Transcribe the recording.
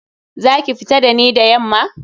Za ki fita da ni da yamma?